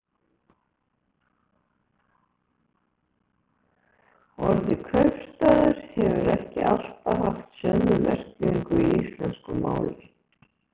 Orðið kaupstaður hefur ekki alltaf haft sömu merkingu í íslensku máli.